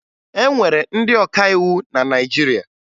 E nwere ndị ọkàiwu na Naịjirịa